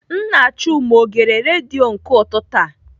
Nna Chuma ọ gere redio nke ụtụtụ a?